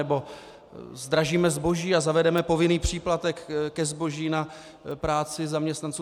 Nebo zdražíme zboží a zavedeme povinný příplatek ke zboží na práci zaměstnanců?